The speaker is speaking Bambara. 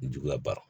Juguya bara